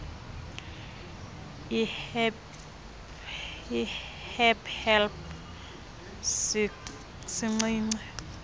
ihdpe neldpe sincinci